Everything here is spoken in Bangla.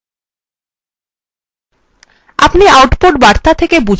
আপনি output বার্তা থেকে বুঝতে পারছেন